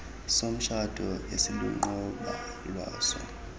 somtshato esiluqobo lwaso